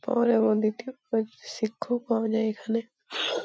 পরে আমরা দেখতে পাই শিক্ষক পাওয়া যায় এখানে।